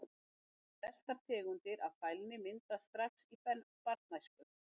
Myndun Flestar tegundir af fælni myndast strax í barnæsku.